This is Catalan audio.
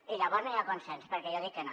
i llavors no hi ha consens perquè jo dic que no